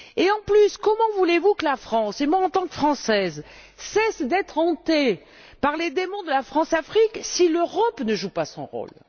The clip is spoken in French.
De plus, comment voulez vous que la France et moi, en tant que Française cesse d'être hantée par les démons de la Françafrique si l'Europe ne joue pas son rôle?